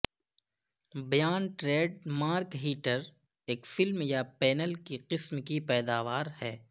بیان trade mark heater ایک film یا پینل کی قسم کی پیداوار ہے